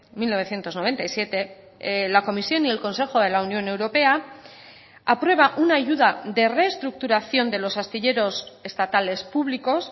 mil novecientos noventa y siete la comisión y el consejo de la unión europea aprueba una ayuda de reestructuración de los astilleros estatales públicos